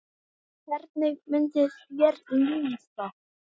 Hvernig myndi þér líða?